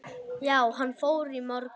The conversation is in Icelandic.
Já, hann fór í morgun